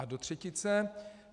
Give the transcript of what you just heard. A do třetice.